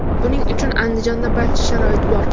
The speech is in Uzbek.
Buning uchun Andijonda barcha sharoit bor.